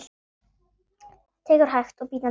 Tekur hægt og bítandi á.